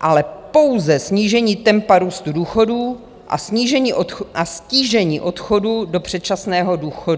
ale pouze snížení tempa růstu důchodů a ztížení odchodu do předčasného důchodu.